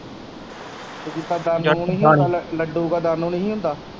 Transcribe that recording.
ਜਿੱਦਾਂ ਨਹੀਂ ਹੀ ਹੁੰਦਾ ਲੱਡੂ ਕਾ ਨਹੀਂ ਹੀ ਹੁੰਦਾ।